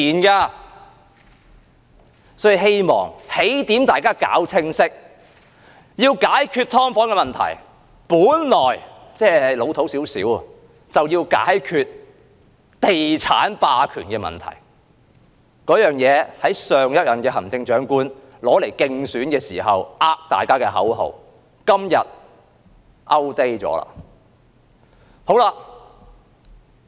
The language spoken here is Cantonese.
因此，我希望大家搞清楚起點，要解決"劏房"的問題，本來就要解決地產霸權的問題，儘管這說法是老土一點，而這也是上一任行政長官競選時欺騙大家的口號，今天已經過時。